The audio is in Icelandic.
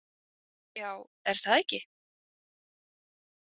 Já, er það ekki?